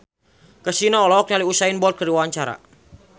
Kasino olohok ningali Usain Bolt keur diwawancara